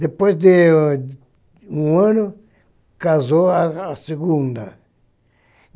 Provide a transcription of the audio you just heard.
Depois de um ano, casou a a segunda.